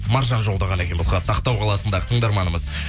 маржан жолдаған екен бұл хатты ақтау қаласындағы тыңдарманымыз